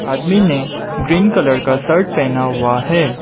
आदमी ने green colour का शर्ट पहना हुआ है।